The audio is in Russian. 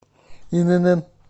инн